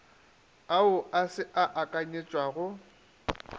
ao a se a akanyetšwago